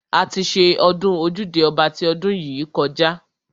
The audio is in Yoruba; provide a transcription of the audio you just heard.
A ti ṣe ọdún ojúde ọba ti ọdún yìí kọjá.